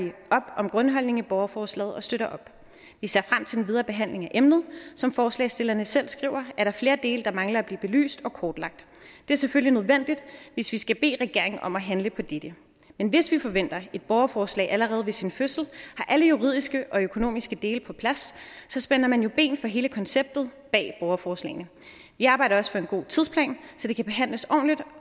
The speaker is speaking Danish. op om grundholdningen i borgerforslaget og støtter op vi ser frem til den videre behandling af emnet som forslagsstillerne selv skriver er der flere dele der mangler at blive belyst og kortlagt det er selvfølgelig nødvendigt hvis vi skal bede regeringen om at handle på dette men hvis vi forventer at et borgerforslag allerede ved sin fødsel har alle juridiske og økonomiske dele på plads så spænder man jo ben for hele konceptet bag borgerforslagene vi arbejder også på en god tidsplan så det kan behandles ordentligt